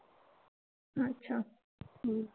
अच्छा. हम्म